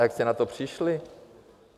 A jak jste na to přišli?